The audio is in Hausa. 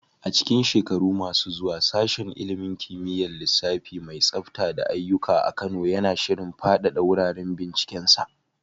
A cikin shekaru masu zuwa, Sashen ilimin kimiyyar lissafi mai tsafta da aiyuka a Kano yana shirin fadada wuraren bincikensa.